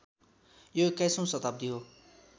यो एक्काइसौँ शताब्दी हो